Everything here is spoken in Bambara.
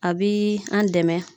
A bi an dɛmɛ.